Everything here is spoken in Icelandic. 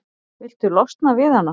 Viltu losna við hana?